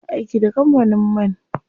Ina aiki da kampanin man.